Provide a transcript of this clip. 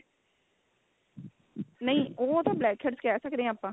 ਨਹੀਂ ਉਹ ਤਾਂ black heads ਕਹਿ ਸਕਦੇ ਆ ਆਪਾਂ